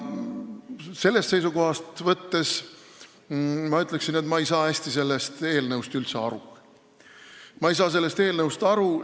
Sellest seisukohast võttes ma ütleksin, et ma ei saa sellest eelnõust üldse hästi aru.